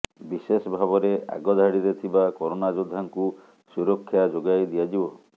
ବିଶେଷ ଭାବରେ ଆଗଧାଡିରେ ଥିବା କରୋନା ଯୋଦ୍ଧାଙ୍କୁ ସୁରକ୍ଷା ଯୋଗାଇ ଦିଆଯିବ